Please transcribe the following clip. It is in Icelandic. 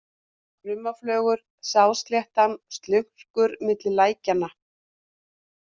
Krummaflögur, Sáðsléttan, Slurkur, Milli lækjanna